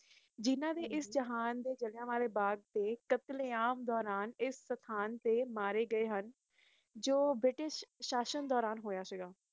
ਜਿਨ੍ਹਾਂ ਦੀ ਇਸ ਜਹਾਨ ਤੇ ਜਲ੍ਹਿਆਂਵਾਲੇ ਬਾਗ਼ ਦੇ ਟੱਪਣੇ ਮਾਰੇ ਗਏ ਹੁਣ ਜੋ ਬ੍ਰਿਟਿਸ਼ ਅਸ਼ਸ਼ਾਂ ਦੇ ਦੂਰਾਂ ਹੋਇਆ ਸੀ ਗਏ